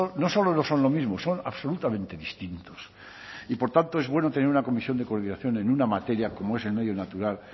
no solo no son lo mismo son absolutamente distintos y por tanto es bueno tener una comisión de coordinación en una materia como es el medio natural